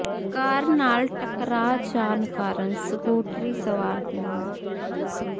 ਕਾਰ ਨਾਲ ਟਕਰਾ ਜਾਣ ਕਾਰਨ ਸਕੂਟਰੀ ਸਵਾਰ ਦੀ ਮੌਤ